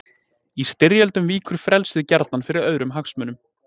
Í styrjöldum víkur frelsið gjarnan fyrir öðrum hagsmunum.